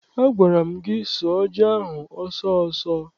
Agwara m gị sụọ ji ahụ ọsọ ọsọ!